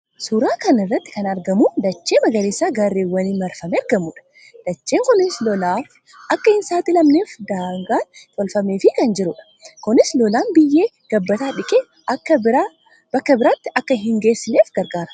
Suuraa kana irratti kan argamu dachee magariisa gaarrewwaniin marfamee argamuudha. Dacheen kunis lolaaf akka hin saaxilamneef daagaan tolfameefii kan jiruudha. Kunis lolaan biyyee gabbataa dhiqee bakka biraatti akka hin geessineef gargaara.